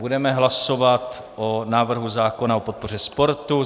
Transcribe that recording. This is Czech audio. Budeme hlasovat o návrhu zákona o podpoře sportu.